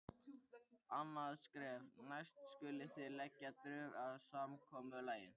Annað skref: Næst skulið þið leggja drög að samkomulagi.